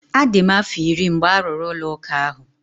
A dị m afọ iri mgbe a rụrụ ụlọ ụka ahụ.